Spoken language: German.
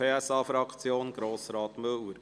Die Motion wurde in ein Postulat gewandelt.